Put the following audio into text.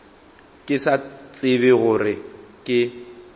ke sa tsebe gore ke